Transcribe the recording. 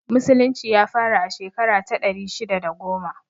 Musulunci ya fara a shekara ta ɗari shidda da goma